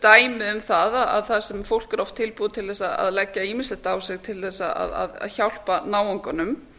dæmi um það þar sem fólk er oft tilbúið til að leggja ýmislegt á sig til að hjálpa náunganum